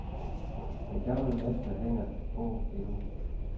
Den gamle mester hænger på endnu.